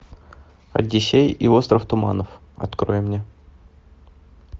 одиссей и остров туманов открой мне